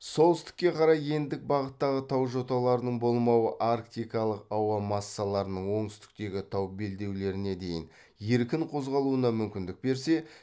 солтүстікке қарай ендік бағыттағы тау жоталарының болмауы арктикалық ауа массаларының оңтүстіктегі тау белдеулеріне дейін еркін қозғалуына мүмкіндік берсе